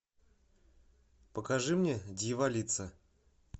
покажи мне дьяволица